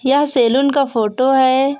यह सैलून का फोटो है।